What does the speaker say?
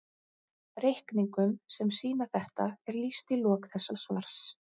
Reikningum sem sýna þetta er lýst í lok þessa svars.